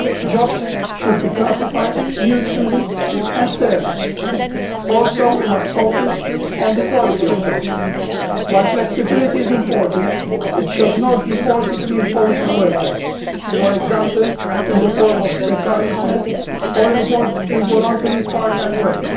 Jobs should be classified mutually and fairly. Also, we must focus on the quality of jobs while flexibility is important, it should not be forcibly imposed on workers, for example, in the form of precariousness or involve involuntary part time work.